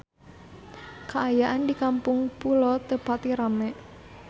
Kaayaan di Kampung Pulo teu pati rame